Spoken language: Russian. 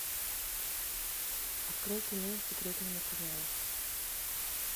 открой кино секретные материалы